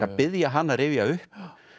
að biðja hana að rifja upp